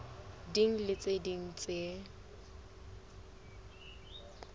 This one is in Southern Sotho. ding le tse ding tse